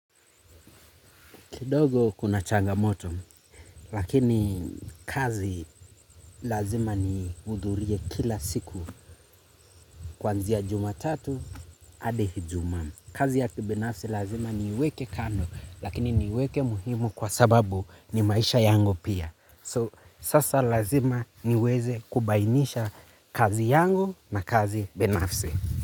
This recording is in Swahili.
Kidogo kuna changamoto, lakini kazi lazima nihidhurie kila siku. Kuanzia jumatatu, adi ijumaa kazi ya kibinafsi lazima niweke kando, lakini niweke muhimu kwa sababu ni maisha yangu pia. So, sasa lazima niweze kubainisha kazi yangu na kazi binafsi.